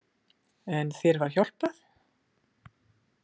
En þér var hjálpað?